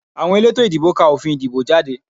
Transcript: Àwọn elétò ìdìbò ká òfin ìdìbò jáde